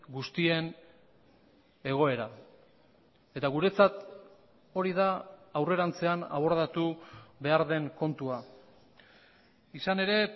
guztien egoera eta guretzat hori da aurrerantzean abordatu behar den kontua izan ere